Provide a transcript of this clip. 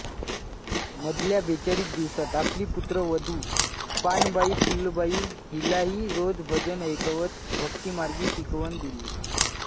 मधल्या बेचाळीस दिवसात आपली पुत्र वधु पानबाईफुलबाई हीलाही रोज भजन ऐकवत भक्तिमार्गी शिकवण दिली